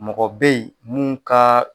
Mɔgɔ bɛ yen mun ka